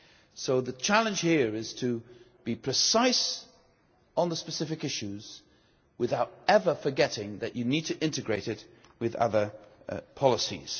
So the challenge here is to be precise on the specific issues without ever forgetting that you need to integrate it with other policies.